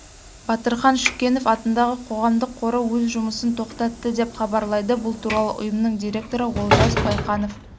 батырхан шүкенов атындағы қоғамдық қоры өз жұмысын тоқтатты деп хабарлайды бұл туралы ұйымның директоры олжас байқанов